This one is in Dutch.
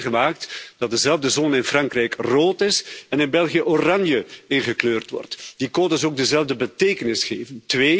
We hebben het meegemaakt dat dezelfde zone in Frankrijk rood is en in België oranje ingekleurd wordt. Die codes ook dezelfde betekenis geven.